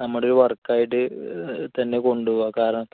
നമ്മുടെ ഈ work ആയിട്ട് തന്നെ കൊണ്ടുപോവുക. കാരണം